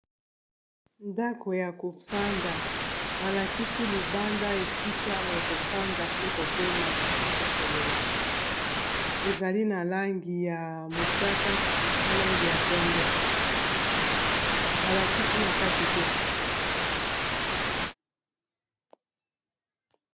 Ndako ya kofanda balakisi libanda esika ya kofanda pe kopema to kosolola ezali na langi ya mosaka na langi ya pembe balakisi na kati te